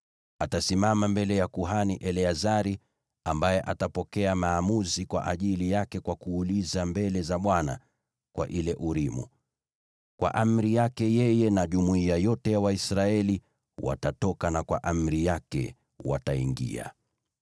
Atasimama mbele ya kuhani Eleazari, ambaye atapokea maamuzi kwa ajili yake, kwa kuuliza mbele za Bwana kwa ile Urimu. Kwa amri yake, yeye na jumuiya yote ya Waisraeli watatoka, na kwa amri yake, wataingia.”